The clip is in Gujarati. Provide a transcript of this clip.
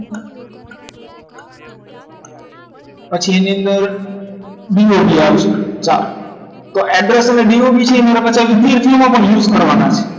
પછી એની અંદર BOB અવસે ચા તો abroad તમે BOB છે use થવાના